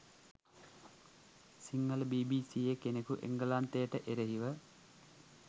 සිංහළ බීබීසීයේ කෙනෙකු එංගලන්තයට එරෙහිව